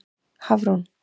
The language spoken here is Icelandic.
Hafrún